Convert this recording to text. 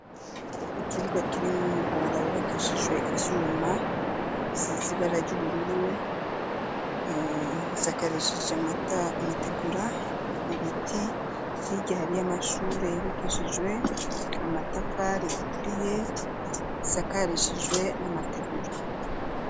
Ikibuga kirimwo umuhora wubakishijwe ivyuma sizibara ry'ubururu sakarishije amategura ibiti y'igihari y'amashure yibakishijwe amatafari ituriye sakarishijwe n'amategura.